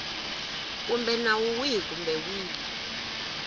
kumbe nawu wihi kumbe wihi